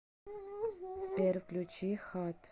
сбер включи хат